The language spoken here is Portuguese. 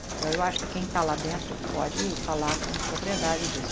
Então, eu acho que quem está lá dentro eh que pode falar com propriedade disso.